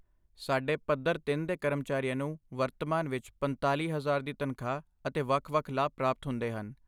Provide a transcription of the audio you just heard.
ਸਾਡੇ ਪੱਧਰ ਤਿੰਨ ਦੇ ਕਰਮਚਾਰੀਆਂ ਨੂੰ ਵਰਤਮਾਨ ਵਿੱਚ ਪੰਤਾਲ਼ੀ ਹਜ਼ਾਰ ਦੀ ਤਨਖਾਹ ਅਤੇ ਵੱਖ ਵੱਖ ਲਾਭ ਪ੍ਰਾਪਤ ਹੁੰਦੇ ਹਨ